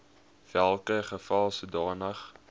welke geval sodanige